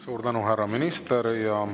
Suur tänu, härra minister!